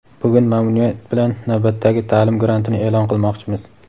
bugun mamnuniyat bilan navbatdagi taʼlim grantini eʼlon qilmoqchimiz.